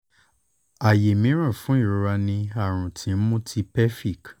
aye miiran fun irora ni arun ti nmu ti pelvic